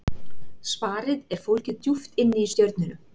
Svarið er fólgið djúpt inni í stjörnunum.